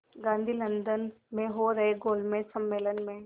Gandhi London में हो रहे गोलमेज़ सम्मेलन में